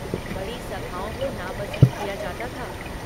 बड़ी सभाओं को नापसंद किया जाता था।